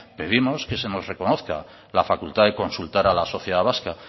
pedimos que se nos reconozca la facultad de consultar a la sociedad vasca